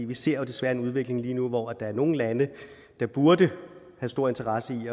vi ser desværre en udvikling lige nu hvor der er nogle lande der burde have stor interesse i